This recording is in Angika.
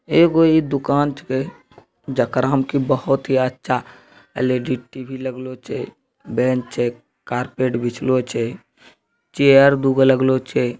एगो इ दुकान छे जकरा में की बहुत ही अच्छा एल.ई.डी. टी.वी. लग्लो छे बेंच छे कार्पट बिछलो छे चेयर दुगो लगलो छे।